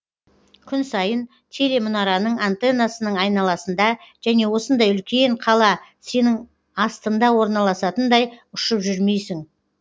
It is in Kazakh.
күн сайын телемұнараның антеннасының айналасында және осындай үлкен қала сенің астыңда орналасатындай ұшып жүрмейсің